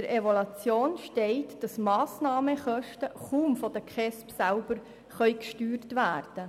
Gemäss Evaluation können Massnahmenkosten von den KESB selber kaum gesteuert werden.